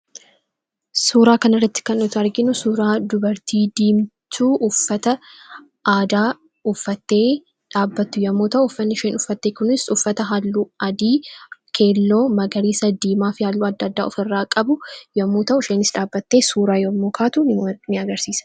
Suuraa kana irratti kan nuti arginu suuraa dubartii diimtuu uffata aadaa uffattee dhaabbattu yommuu ta'u, uffanni isheen uffatte kunis uffatta halluu: adii. keelloo, magariisa, diimaa fi halluu adda addaa ofirraa qabudha. Dubartiin kunis dhaabbattee yommuu suuraa kaatu agarsiisa.